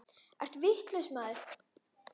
Ertu vitlaus maður?